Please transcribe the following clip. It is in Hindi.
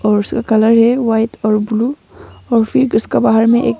और उसका कलर है व्हाइट और ब्लू और फिर उसका बाहर मे एक--